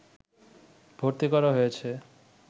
ভর্তি করা হয়েছে